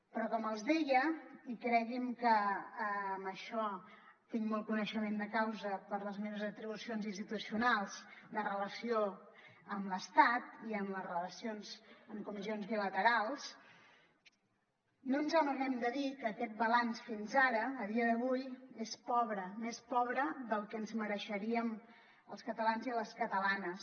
però com els deia i creguin que en això hi tinc molt coneixement de causa per les meves atribucions institucionals de relació amb l’estat i en les relacions en comissions bilaterals no ens amaguem de dir que aquest balanç fins ara a dia d’avui és pobre més pobre del que ens mereixeríem els catalans i les catalanes